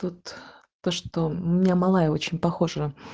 то что у меня мало я очень похожа